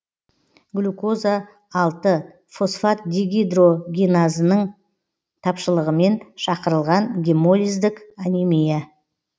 глюкоза алты фосфатдегидрогеназаның тапшылығымен шақырылған гемолиздік анемия